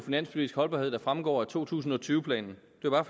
finanspolitisk holdbarhed der fremgår af to tusind og tyve planen